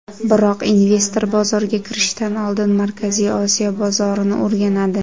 Biroq, investor bozorga kirishdan oldin Markaziy Osiyo bozorini o‘rganadi.